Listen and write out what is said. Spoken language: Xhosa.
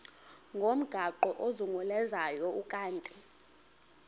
ngomgaqo ozungulezayo ukanti